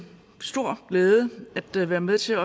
stor glæde være med til